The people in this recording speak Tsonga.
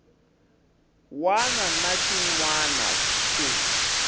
wana na xin wana ku